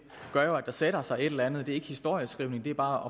gør jo at der sætter sig et eller andet det er ikke historieskrivning det er bare